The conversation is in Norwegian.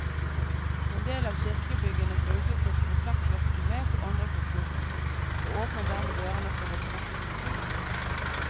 En del av kirkebyggene brukes til konsertvirksomhet og andre kulturformål, og åpner dermed dørene for et bredt publikum.